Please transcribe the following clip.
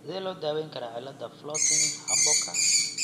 Sidee loo daweyn karaa cillada Floating Harborka?